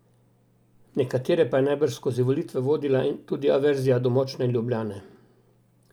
Nekatere pa je najbrž skozi volitve vodila tudi averzija do močne Ljubljane.